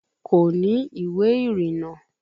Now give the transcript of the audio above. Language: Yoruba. Kò ní ìwé ìrìnnà